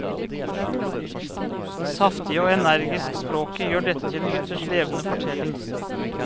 Det saftige og energisk språket gjør dette til en ytterst levende fortelling.